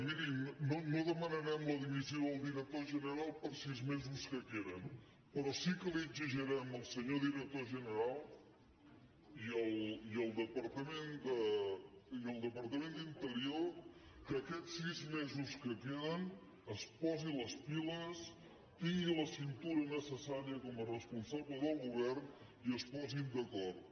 mirin no demanarem la dimissió del director general per sis mesos que queden però sí que li exigirem al senyor director general i al departament d’interior que aquests sis mesos que queden es posi les piles tingui la cintura necessària com a responsable del govern i es posin d’acord